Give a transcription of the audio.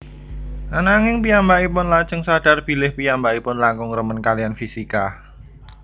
Ananging piyambakipun lajeng sadhar bilih piyambakipun langkung remen kaliyan fisika